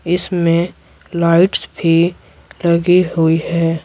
इसमें लाइट्स भी लगी हुई है।